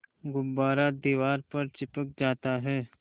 गुब्बारा दीवार पर चिपक जाता है